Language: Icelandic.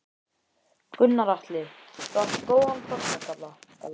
Gunnar Atli: Þú átt góðan pollagalla?